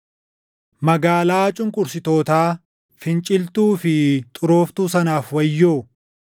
Magaalaa cunqursitootaa, finciltuu fi xurooftuu sanaaf wayyoo!